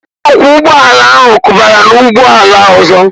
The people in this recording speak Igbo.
Onye ọkwọ ụgbọ ala ahụ kụbara n'ụgbọ ala ọzọ